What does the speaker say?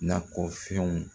Nakɔ fɛnw